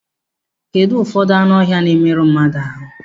Kedụ ụfọdụ anụ ọhịa na-emerụ mmadụ ahụ?